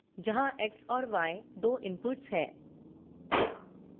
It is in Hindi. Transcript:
जहाँ x और y दो inputs हैं